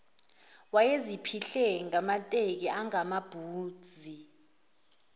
wayeziphihle ngamateki angamabhuzi